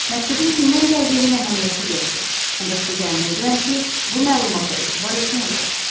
Məktubun kimdən gəldiyinin əhəmiyyəti yoxdur, ancaq sizi əmin edirəm ki, bu məlumata etibar etmək olar.